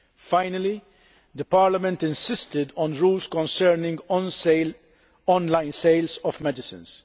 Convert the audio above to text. Finally, Parliament insisted on rules concerning online sales of medicines.